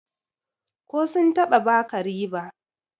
ko sun taba baka riba?